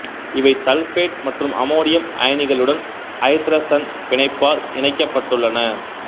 இவை சல்பேட்டு மற்றும் அம்மோனியம் அயனிகளுடன் ஐதரசன் பிணைப்பால் இணைக்கப்பட்டள்ளன